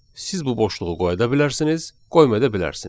Siz bu boşluğu qoya da bilərsiniz, qoymaya da bilərsiniz.